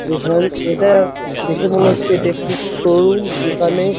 এখান এটা দেখে মনে হচ্ছে এটা একটু শোরুম যেখানে --